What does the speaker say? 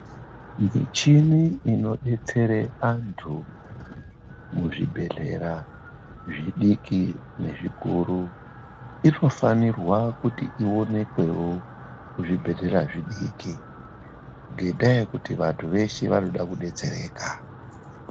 Michini inodetsera vandu muzvibhedhlera zvidiki nezvikuru inofanirwa kuti ionekwewo muzvibhedhlera zvidiki ngendaa yekuti vandu veshe vanoda kudetsereka.